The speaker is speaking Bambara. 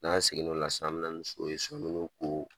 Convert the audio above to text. N'an seginna o la sisan an bɛ na ni sow ye so an bɛ n'u ko